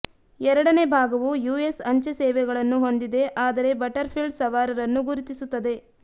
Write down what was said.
ಎರಡನೇ ಭಾಗವು ಯುಎಸ್ ಅಂಚೆ ಸೇವೆಗಳನ್ನು ಹೊಂದಿದೆ ಆದರೆ ಬಟರ್ಫೀಲ್ಡ್ ಸವಾರರನ್ನು ಗುರುತಿಸುತ್ತದೆ